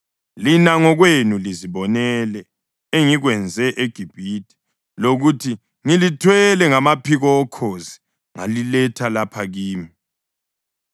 ‘Lina ngokwenu lizibonele engikwenze eGibhithe lokuthi ngilithwele ngamaphiko okhozi ngaliletha lapha kimi.